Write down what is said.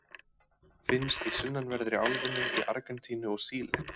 Finnst í sunnanverðri álfunni, í Argentínu og Síle.